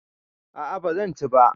A'a ba zan ci ba.